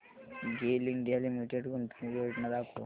गेल India limited गुंतवणूक योजना दाखव